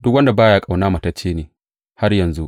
Duk wanda ba ya ƙauna matacce ne har yanzu.